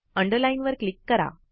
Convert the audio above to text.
underline वर click करा